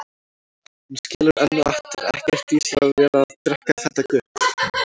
Hún skilur enn og aftur ekkert í sér að vera að drekka þetta gutl.